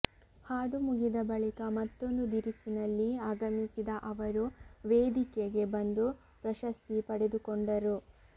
ಹಾಡು ಮುಗಿದ ಬಳಿಕ ಮತ್ತೊಂದು ದಿರಿಸಿನಲ್ಲಿ ಆಗಮಿಸಿದ ಅವರು ವೇದಿಕೆಗೆ ಬಂದು ಪ್ರಶಸ್ತಿ ಪಡೆದುಕೊಂಡರು